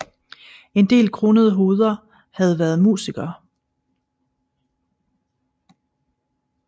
En del kronede hoveder har været musikere